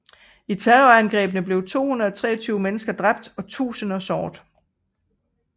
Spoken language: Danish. I terrorangrebene blev 223 mennesker dræbt og tusinder såret